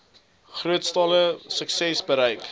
grootskaalse suksesse bereik